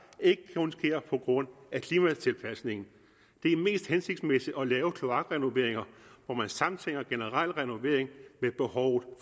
ikke kun sker på grund af klimatilpasningen det er mest hensigtsmæssigt at lave kloakrenoveringer hvor man samtænker generel renovering med behovet